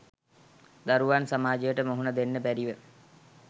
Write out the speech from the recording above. දරුවන් සමාජයට මුහුණ දෙන්න බැරිව